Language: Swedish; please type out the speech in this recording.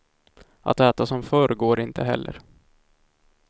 Att äta som förr går inte heller.